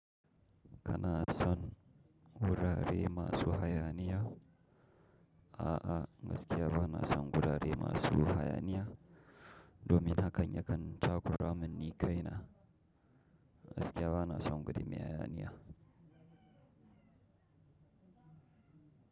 Kana son wurare masu hayaniya? A'a, gaskiya ba na son gurare masu hayaniya domin hakan yakan takuramin ni kaina. Gaskiya ba na son gudumiyar hayaniya.